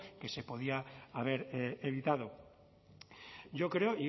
que se podía haber evitado yo creo